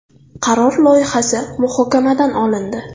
Qaror loyihasi muhokamadan olindi.